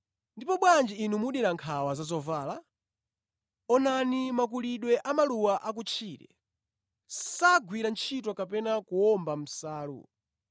“Ndipo bwanji inu mudera nkhawa za zovala? Onani makulidwe a maluwa akutchire. Sagwira ntchito kapena kuwomba nsalu.